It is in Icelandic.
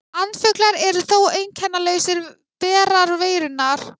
Andfuglar eru þó einkennalausir berar veirunnar.